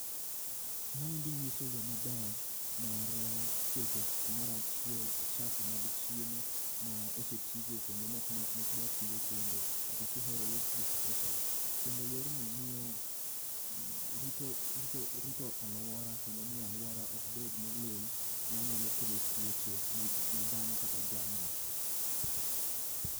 Maendi nyiso yoo maber mar keto kumoro achiel uchafu mag chiemo ma osetii go kendo maok dwa tii go kendo kata kihero waste disposal .Kendo yorni rito aluora kendo miyo aluora ok bed molil manya kelo tuoche ne dhano kata jamni